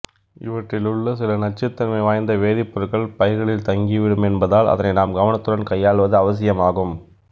இவற்றிலுள்ள சில நச்சுத்தன்மை வாய்ந்த வேதிப்பொருட்கள் பயிர்களில் தங்கி விடும் என்பதால் அதனை நாம் கவனத்துடன் கையாள்வது அவசியமாகும்